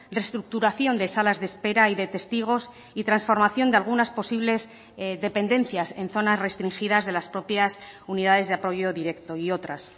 reestructuración de salas de espera y de testigos y transformación de algunas posibles dependencias en zonas restringidas de las propias unidades de apoyo directo y otras